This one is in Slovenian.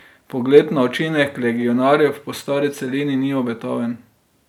Pogled na učinek legionarjev po stari celini ni obetaven.